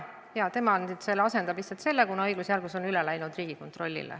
Tema asendab komisjoni, kuna õigusjärglus on üle läinud Riigikontrollile.